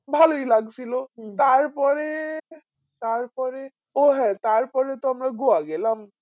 ভালই লাগছিল তারপরে তারপরে ও হ্যাঁ তারপরে তো আমরা গোয়া গেলাম